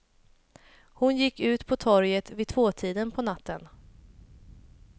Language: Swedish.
Hon gick ut på torget vid tvåtiden på natten.